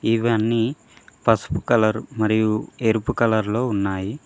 ఇవన్నీ పసుపు కలర్ మరియు ఎరుపు కలర్ లో ఉన్నాయి.